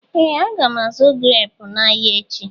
Ee! Aga m azụ̀ greepu n'ahịa echi.